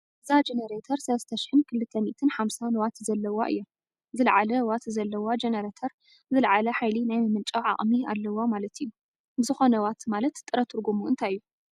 እዛ ጀነረተር 3250 ዋት ዘለዋ እያ፡፡ ዝለዓለ ዋት ዘለዋ ጀነረተር ዝለዓለ ሓይሊ ናይ ምምንጫው ዓቕሚ ኣለዋ ማለት እዩ፡፡ ብዝኾነ ዋት ማለት ጥረ ትርጉሙ እንታይ እዩ?